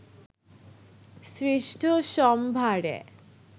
সৃষ্ট সম্ভারে